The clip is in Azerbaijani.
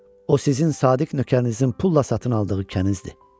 O sizin sadiq nökərinizin pulla satın aldığı kənizdir.